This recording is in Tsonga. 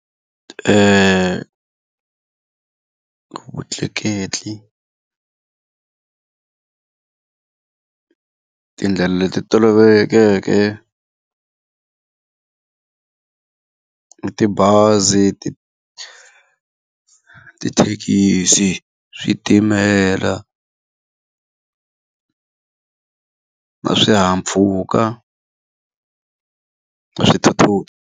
Vutleketli tindlela leti tolovelekeke i tibazi tithekisi, switimela na swihahampfhuka na swithuthuthu.